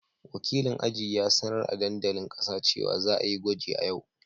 Wakilin aji ya sanar a dandalin kasa cewa za a yi gwaji a yau.